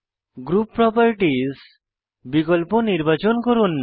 group properties বিকল্প নির্বাচন করুন